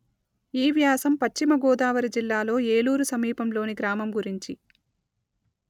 ఈ వ్యాసం పశ్చిమ గోదావరి జిల్లాలో ఏలూరు సమీపంలోని గ్రామం గురించి